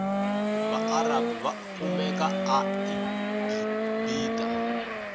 vaarabhu vakumeka agibite